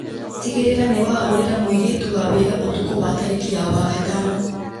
tigĩrĩra nĩwahũrĩra mũirĩtu wa wĩra ũtukũ wa tarĩki ya wagatano